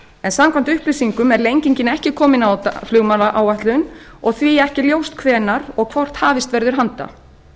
en samkvæmt upplýsingum er lengingin ekki komin á flugmannaáætlun og því ekki ljóst hvenær og hvort hafist verður handa